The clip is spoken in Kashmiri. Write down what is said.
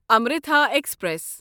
امرِتھا ایکسپریس